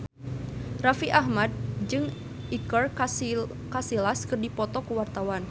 Raffi Ahmad jeung Iker Casillas keur dipoto ku wartawan